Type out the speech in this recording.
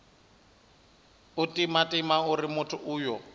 u timatima uri muthu uyo